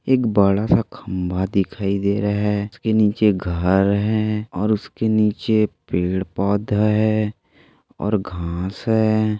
एक बड़ा सा खंबा दिखाई दे रहा है उसके निचे घर है और उसके नीचे पेड़ पौधा है और घांस है।